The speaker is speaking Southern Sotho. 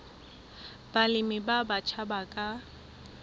balemi ba batjha ba ka